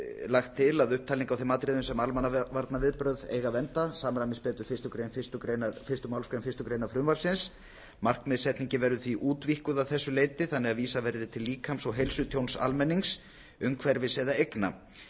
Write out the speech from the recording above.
lagt til að upptalning á þeim atriðum sem almannavarnaviðbrögð eiga vernda samræmist betur fyrstu málsgrein fyrstu grein frumvarpsins markmiðssetningin verður því útvíkkuð að þessu leyti þannig að vísað verði til líkams og heilsutjóns almennings umhverfis eða eigna í